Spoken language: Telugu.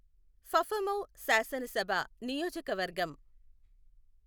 ఫఫమౌ శాసనసభ నియోజకవర్గం